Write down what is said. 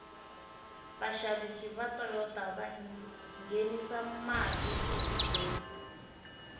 vashavisi vatoyota vangenisa male atikweni